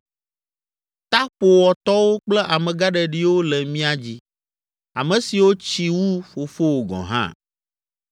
Ta ƒowɔ tɔwo kple amegãɖeɖiwo le mía dzi, ame siwo tsi wu fofowò gɔ̃ hã.